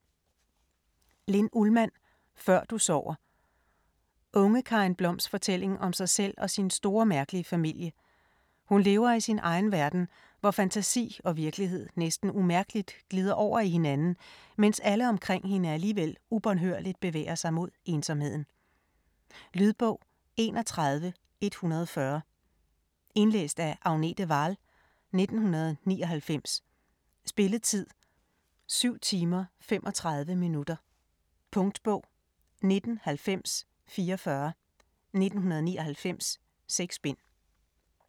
Ullmann, Linn: Før du sover Unge Karin Bloms fortælling om sig selv og sin store, mærkelige familie; hun lever i sin egen verden, hvor fantasi og virkelighed næsten umærkeligt glider over i hinanden, mens alle omkring hende alligevel ubønhørligt bevæger sig mod ensomheden. Lydbog 31140 Indlæst af Agnete Wahl, 1999. Spilletid: 7 timer, 35 minutter. Punktbog 199044 1999. 6 bind.